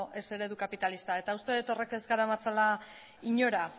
ez eredu kapitalista uste dut horrek ez garamatzala inora